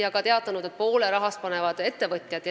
Nad on öelnud ka seda, et poole rahast panevad ettevõtjad.